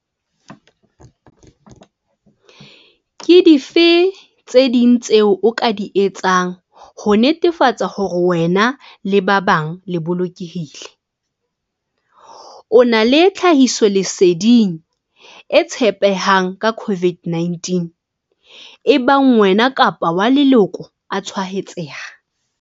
Ke dife tse ding tseo o ka di etsang ho netefatsa hore wena le ba bang le bolokehile? O na le tlhahisoleding e tshepehang ka COVID-19 ebang wena kapa wa leloko a tshwaetseha?